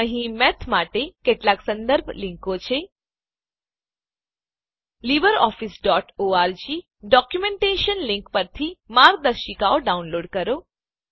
અહીં મેથ માટે કેટલાક સંદર્ભ લીંકો છે libreofficeઓર્ગ ડોક્યુંમેંટેશન લીંક પરથી માર્ગદર્શિકાઓ ડાઉનલોડ કરો